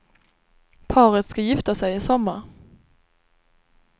Paret ska gifta sig i sommar.